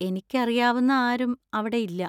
എനിക്കറിയാവുന്ന ആരും അവിടെ ഇല്ല.